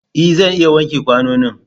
E! Zan iya wanke kwanonin.